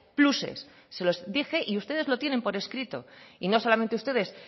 pluses se lo dije y ustedes lo tienen por escrito y no solamente ustedes